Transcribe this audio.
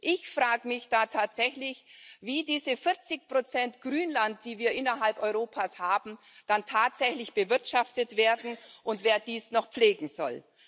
Ich frage mich da tatsächlich, wie diese 40 Grünland, die wir innerhalb Europas haben, dann tatsächlich bewirtschaftet werden und wer dies noch pflegen soll.